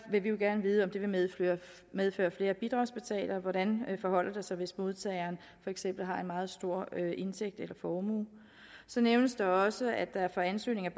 vil vi jo gerne vide om det vil medføre medføre flere bidragsbetalere og hvordan det forholder sig hvis modtageren for eksempel har en meget stor indtægt eller formue så nævnes der også at der for ansøgninger